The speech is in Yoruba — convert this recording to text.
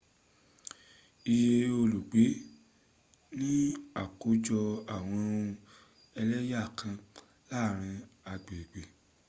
iye olùgbé ni ákójọ àwọn ohun ẹlẹ́yà kan láàrin agbègbè